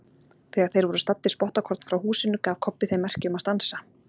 Þegar þeir voru staddir spottakorn frá húsinu gaf Kobbi þeim merki um að stansa.